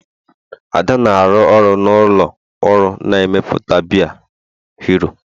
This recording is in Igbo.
Ada na-arụ ọrụ na ụlọ ọrụ na-emepụta biya hero